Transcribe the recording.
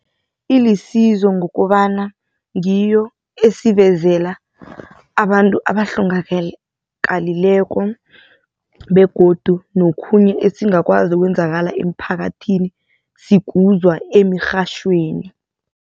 Ilisizo ngokobana ngiyo esivezela abantu abahlongakalileko begodu nokhunye esingakwazi okwenzakala emphakathini sikuzwa emirhatjhweni.